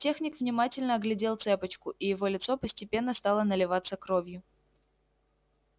техник внимательно оглядел цепочку и его лицо постепенно стало наливаться кровью